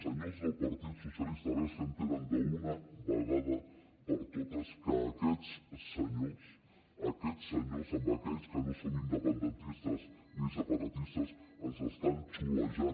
senyors del partit socialista a veure si entenen d’una vegada per totes que aquests senyors aquests senyors a aquells que no som independentistes ni separatistes ens estan xulejant